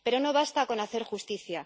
Pero no basta con hacer justicia.